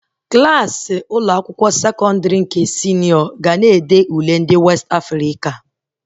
Klassị Ụlọ akwụkwọ sekọndrị nke senịọ ga na-ede Ule ndị Westị Afrịka